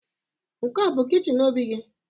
Nke a bu kichin Obi gi?